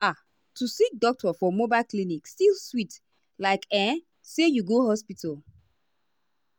ah to see doctor for mobile clinic still sweet likeah say you go hospital.